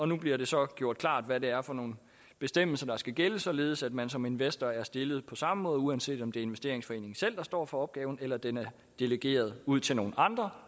nu bliver det så gjort klart hvad det er for nogle bestemmelser der skal gælde således at man som investor er stillet på samme måde uanset om det er investeringsforeningen selv der står for opgaven eller den er delegeret ud til nogle andre